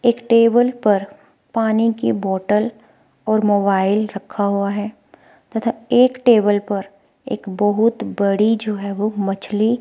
एक टेबल पर पानी की बॉटल और मोबाइल रखा हुआ है तथा एक टेबल पर एक बहुत बड़ी जो है वो मछली--